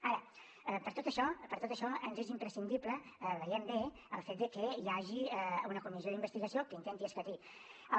ara per tot això ens és imprescindible veiem bé el fet de que hi hagi una comissió d’investigació que intenti escatir ho